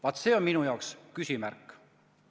Vaat, siin on minul küsimärk.